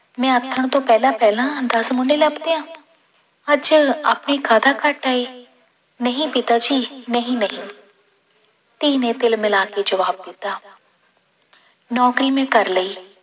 ਮੈਂ ਆਥਣ ਤੋਂ ਪਹਿਲਾਂ ਪਹਿਲਾਂ ਦਸ ਮੁੰਡੇ ਲੱਭ ਦਿਆਂ, ਅੱਜ ਆਪਣੇ ਕਾਹਦਾ ਘਾਟਾ ਹੈ, ਨਹੀਂ ਪਿਤਾ ਜੀ ਨਹੀਂ ਨਹੀਂ ਧੀ ਨੇ ਤਿਲ ਮਿਲਾ ਕੇ ਜ਼ਵਾਬ ਦਿੱਤਾ ਨੌਕਰੀ ਮੈਂ ਕਰ ਲਈ